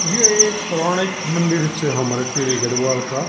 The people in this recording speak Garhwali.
यु एक पौराणिक मंदिर च हमर टिहरी गढ़वाल का।